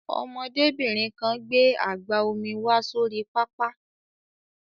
Ọmọdébìnrin kan gbé àgbá omi wá sórí pápá.